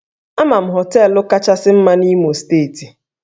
Ama m hóteélụ̀ kachasị na Imo steeti